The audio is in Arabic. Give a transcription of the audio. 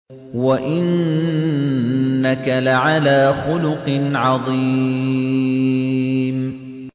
وَإِنَّكَ لَعَلَىٰ خُلُقٍ عَظِيمٍ